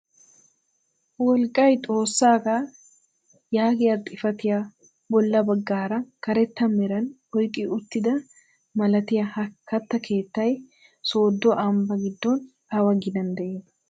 "wolqqay xoossaagaa" yaagiyaa xifatiyaa bolla baggaara karetta meran oyqqi uttida malaatay ha katta keettay sooddo ambbaa giddon awa ginaan de'ii?